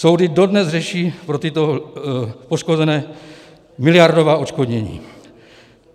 Soudy dodnes řeší pro tyto poškozené miliardová odškodnění.